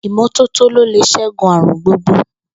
Ìmó̩tótó ló lè s̩égun àrùn gbogbo